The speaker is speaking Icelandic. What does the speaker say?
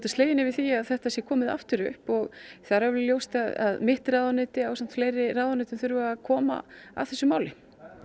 slegin yfir því að þetta sé komið aftur upp og það er alveg ljóst að mitt ráðuneyti og fleiri ráðuneyti þurfa að koma að þessu máli